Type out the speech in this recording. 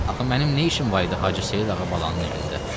Axı mənim nə işim var idi Hacı Seyid Ağabalının evində?